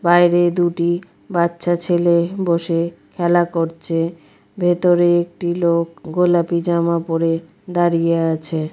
বাইরে দুটি বাচ্চা ছেলে বসে খেলা করছে । ভেতরে একটি লোক গোলাপি জামা পড়ে দাঁড়িয়ে আছে।